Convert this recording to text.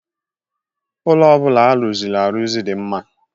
Ụlọ ọ bụla a rụzịrị arụzụ dị m mma.